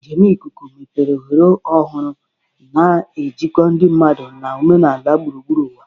Njem ikuku mepere ohere ọhụrụ, na-ejikọ ndị mmadụ na omenala gburugburu ụwa.